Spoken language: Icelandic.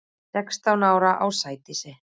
Sextán ára á Sædísi.